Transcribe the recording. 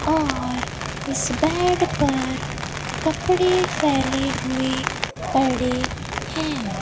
और इस बेड पर कपड़े फैले हुए पड़े हैं।